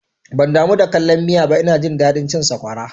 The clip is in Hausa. Ban damu da kallan miya ba, ina jin daɗin cin sakwara